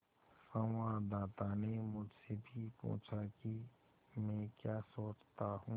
संवाददाता ने मुझसे भी पूछा कि मैं क्या सोचता हूँ